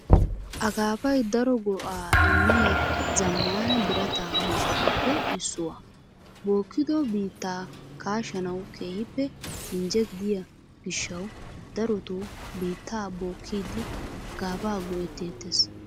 Akaafay daro go"aa immiya zammaana birata miishshatuppe issuwaa. Bookkido biittaa kaashanawu keehippe injje gidiyo gishshawu darota biittaa bookkiiddi akaafaa go'etteettes .